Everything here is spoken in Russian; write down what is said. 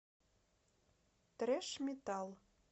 трэш метал